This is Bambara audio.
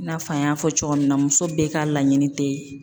I n'a fɔ an y'a fɔ cogo min na muso bɛɛ ka laɲini tɛ.